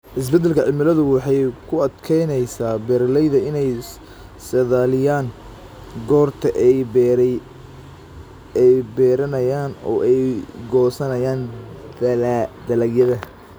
Isbeddelka cimiladu waxay ku adkeynaysaa beeralayda inay saadaaliyaan goorta ay beeranayaan oo ay goosanayaan dalagyada.